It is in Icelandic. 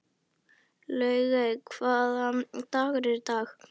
Laugey, hvaða dagur er í dag?